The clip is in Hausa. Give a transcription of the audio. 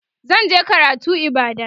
zan je karatu ibadan